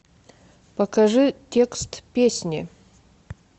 покажи текст песни